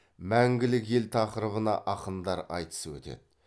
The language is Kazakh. мәңгілік ел тақырыбына ақындар айтысы өтеді